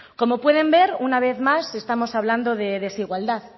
como pueden ver una vez más estamos hablando de desigualdad